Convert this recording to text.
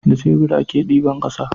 Da shebur a ke diban ƙasa